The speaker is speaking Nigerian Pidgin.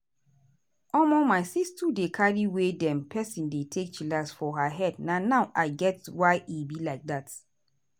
omo my sis sis too dey carry way dem peson dey take chillax for her head na now i get why e be like dat.